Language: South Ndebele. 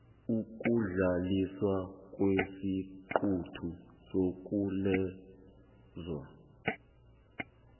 ukudluliswa kwesiqunto sokwalelwa